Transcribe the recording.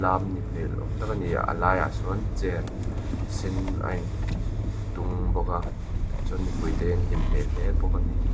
awm tak a ni a laiah sawn chair sen a in tung bawk a chuan mipuite hi an hlim hmel hle bawk a ni.